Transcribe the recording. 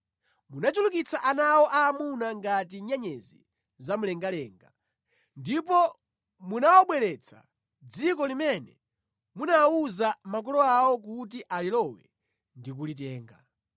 Munachulukitsa ana awo aamuna ngati nyenyezi za mlengalenga. Ndipo munawabweretsa mʼdziko limene munawuza makolo awo kuti alilowe ndi kulitenga.